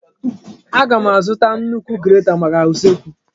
Aga m azụta nnukwu grata maka usekwu?